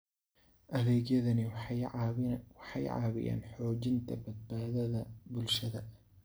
Adeegyadani waxay caawiyaan xoojinta badbaadada bulshada.